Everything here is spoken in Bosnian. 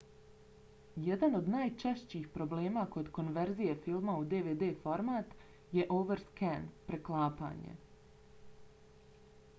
jedan od najčešćih problema kod konverzije filma u dvd format je overscan preklapanje